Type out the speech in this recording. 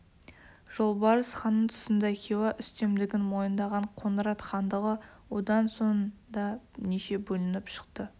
жолбарыс ханның тұсында хиуа үстемдігін мойындаған қоңырат хандығы одан соң да неше бөлініп шықты